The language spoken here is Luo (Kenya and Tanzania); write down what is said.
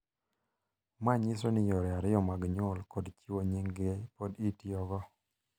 Ma nyiso ni yore ariyo mag nyuol kod chiwo nyinggi pod itiyogo,